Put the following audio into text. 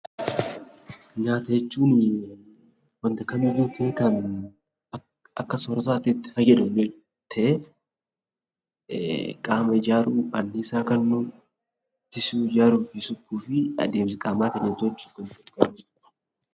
Nyaata jechuun wanta kamiyyuu ta'ee kan akka soorataa tti fayyadamnu ta'ee, qaama ijaaruu, annisaa kennuu, ittisuu, ijaaruu fi suphuu fi adeemsa qaama keenyaa tolchuuf kan nu gargaaru jechuu dha.